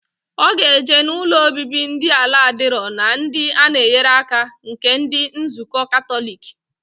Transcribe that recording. Oga eje na ụlọ obibi ndi ala adiro na ndi ana enyere aka nke ndi nzuko katolic.